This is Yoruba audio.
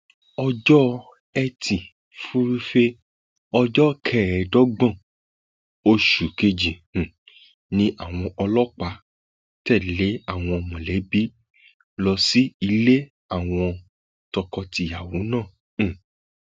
ọjọ etí furuufee ọjọ kẹẹẹdọgbọn oṣù kejì um ni àwọn ọlọpàá tẹlé àwọn mọlẹbí lọ sí ilé àwọn tọkọtìyàwó náà um